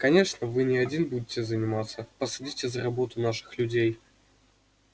конечно вы не один будете заниматься посадите за работу наших людей